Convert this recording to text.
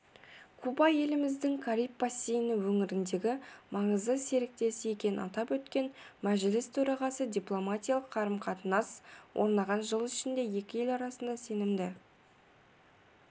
куба еліміздің кариб бассейні өңіріндегі маңызды серіктесі екенін атап өткен мәжіліс төрағасы дипломатиялық қарым-қатынас орнаған жыл ішінде екі ел арасында сенімді